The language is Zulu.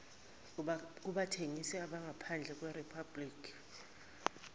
kubathengisi abangaphandle kweriphabhliki